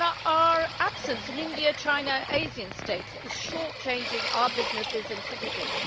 Our absence in India, China and Asian states is short changing our businesses and citizens.